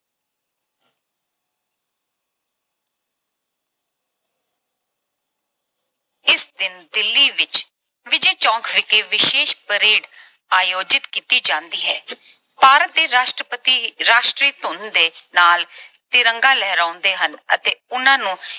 ਇਸ ਦਿਨ ਦਿੱਲੀ ਵਿੱਚ ਵਿਜੈ ਚੌਂਕ ਵਿਖੇ ਵਿਸ਼ੇਸ਼ parade ਆਯੋਜਿਤ ਕੀਤੀ ਜਾਂਦੀ ਹੈ। ਭਾਰਤ ਦੇ ਰਾਸ਼ਟਰਪਤੀ ਇੱਕ ਰਾਸ਼ਟਰੀ ਧੁਨ ਦੇ ਨਾਲ ਤਿਰੰਗਾ ਲਹਿਰਾਉਂਦੇ ਹਨ ਅਤੇ ਉਹਨਾਂ ਨੂੰ